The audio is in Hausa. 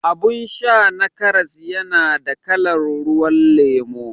Abun sha na karas yana da kalan ruwan lemo